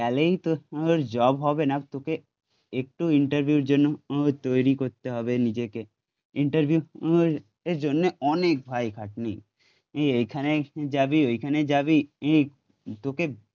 তোর জব হবে না তোকে, একটু ইন্টারভিউ এর জন্য তৈরি করতে হবে নিজেকে ইন্টারভিউ এর জন্যে অনেক ভাই খাটনি, এ এখানে যাবি ওইখানে যাবি ই, তোকে